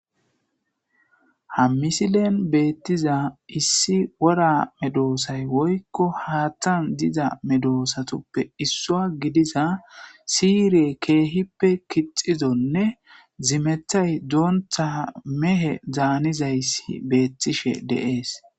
ha misilen beettiza issi wora medoosay woykko haattan diza medoosatoppe issua gidiza siyiriye keehippe kixizonne zimethay doonta mehe daanizayssi beettishe deees